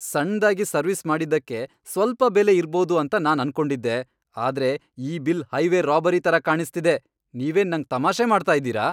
ಸಣ್ದಾಗಿ service ಮಾಡಿದ್ದಕ್ಕೆ ಸ್ವಲ್ಪ ಬೆಲೆ ಇರ್ಬೋದು ಅಂತ ನಾನ್ ಅನ್ಕೊಂಡಿದ್ದೆ, ಆದ್ರೆ ಈ ಬಿಲ್ ಹೈವೇ ರಾಬರಿ ತರ ಕಾಣಿಸ್ತಿದೆ! ನೀವೇನ್ ನಂಗ್ ತಮಾಷೆ ಮಾಡ್ತಾ ಇದ್ದೀರಾ ?